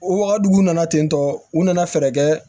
O waga duguw nana ten tɔ u nana fɛɛrɛ kɛ